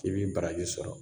I bi baraji sɔrɔ.